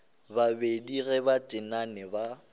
babedi ge ba tenane ba